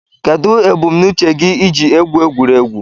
Kedụ ebumnuche gị iji egwu egwuregwu?